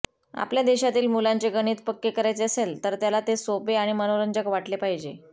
आपल्या देशातील मुलांचे गणित पक्के करायचे असेल तर त्याला ते सोपे आणि मनोरंजक वाटले पाहिजे